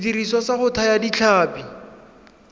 sediriswa sa go thaya ditlhapi